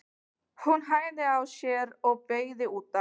Hann hægði á sér og beygði út af.